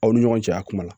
Aw ni ɲɔgɔn cɛ a kuma la